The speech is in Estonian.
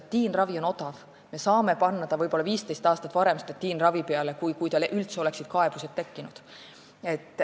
Statiinravi on odav, me saame inimese panna võib-olla 15 aastat varem statiinravi peale, kui tal üldse oleksid kaebused tekkinud.